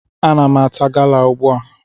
Ana m ata gala ugbu a.